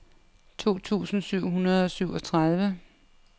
to tusind syv hundrede og syvogtredive